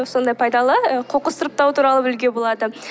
сондай пайдалы ы қоқыс сұрыптау туралы білуге болады